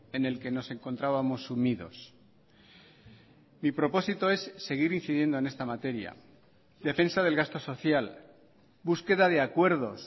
en el que nos encontrábamos sumidos mi propósito es seguir incidiendo en esta materia defensa del gasto social búsqueda de acuerdos